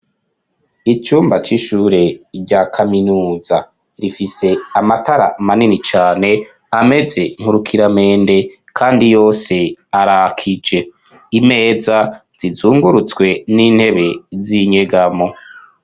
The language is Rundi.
Icumba c'ishure rya kaminuza rifise amatara manini cane ameze nkurukira mende, kandi yose arakije imeza zizungurutswe n'intebe zinyegamo.